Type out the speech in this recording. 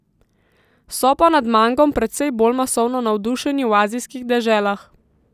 So pa nad mangom precej bolj masovno navdušeni v azijskih deželah.